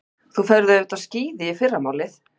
Þú ferð auðvitað á skíði í fyrramálið.